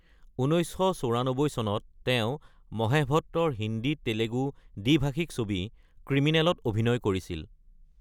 ১৯৯৪ চনত তেওঁ মহেশ ভট্টৰ হিন্দী-তেলেগু দ্বি-ভাষিক ছবি ক্ৰিমিনল ত অভিনয় কৰিছিল।